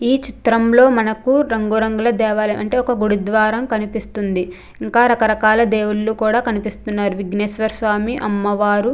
ఈ చిత్రంలో మనకు రంగురంగుల దేవరీ అంటే ఒక గురువారం కనిపిస్తుంది. ఇంకా రకరకాల దేవుళ్ళు కూడా కనిపిస్తున్నారు విజ్ఞేశ్వర స్వామి అమ్మవారు --